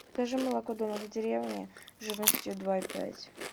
закажи молоко домик в деревне жирностью два и пять